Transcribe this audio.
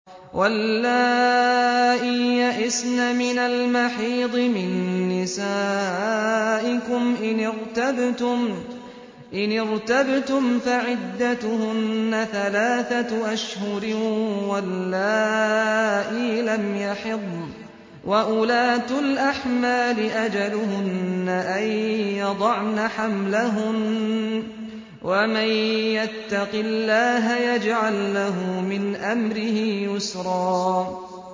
وَاللَّائِي يَئِسْنَ مِنَ الْمَحِيضِ مِن نِّسَائِكُمْ إِنِ ارْتَبْتُمْ فَعِدَّتُهُنَّ ثَلَاثَةُ أَشْهُرٍ وَاللَّائِي لَمْ يَحِضْنَ ۚ وَأُولَاتُ الْأَحْمَالِ أَجَلُهُنَّ أَن يَضَعْنَ حَمْلَهُنَّ ۚ وَمَن يَتَّقِ اللَّهَ يَجْعَل لَّهُ مِنْ أَمْرِهِ يُسْرًا